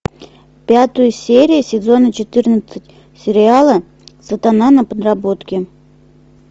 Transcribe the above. пятую серию сезона четырнадцать сериала сатана на подработке